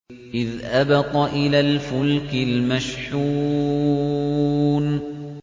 إِذْ أَبَقَ إِلَى الْفُلْكِ الْمَشْحُونِ